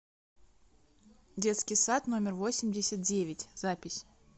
детский сад номер восемьдесят девять запись